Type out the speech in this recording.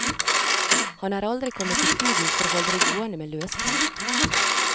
Han er aldri kommet i studio for å holde det gående med løsprat.